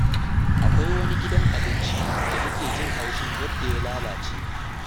Akwai wani gidan abinci da nake jin haushin yadda ya lalace.